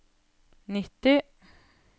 nitti